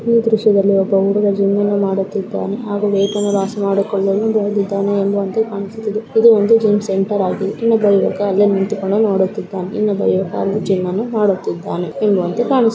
ಈ ದ್ರಶ್ಯದಲ್ಲಿ ಒಬ್ಬ ಹುಡುಗ ಜಿಮ್ಮನ್ನು ಮಾಡುತ್ತಿದ್ದಾನೆ ಹಾಗು ವೆಟನ್ನು ಲಾಸ್‌ ಮಾಡಿಕೊಳ್ಳಲು ಎಂದು ಕಾಣಿಸುತ್ತಿದೆ ಇದು ಒಂದು ಜಿಮ್‌ ಸೆಂಟರ ಆಗಿದೆ ಇನ್ನೊಬ್ಬ ಯುವಕ ಅಲ್ಲೆ ನಿಂತುಕೊಂಡು ನೊಡುತಿದ್ದಾನೆ ಇನ್ನೊಬ್ಬ ಯುವಕ ಅಲ್ಲಿ ಜಿಮ್ಮನ್ನು ಮಾಡುತ್ತಿದ್ದಾನೆ ಕಾಣಿಸುತ --